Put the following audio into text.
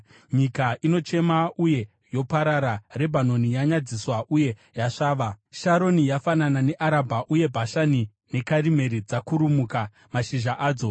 Nyika inochema uye yoparara, Rebhanoni yanyadziswa uye yasvava; Sharoni yafanana neArabha, uye Bhashani neKarimeri dzakurumuka mashizha adzo.